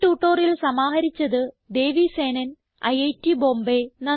ഈ ട്യൂട്ടോറിയൽ സമാഹരിച്ചത് ദേവി സേനൻ ഐറ്റ് ബോംബേ